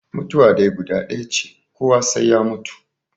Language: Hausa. Mutuwa dai guda ɗaya ce, kowa sai ya mutu.